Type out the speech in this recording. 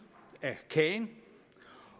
af kagen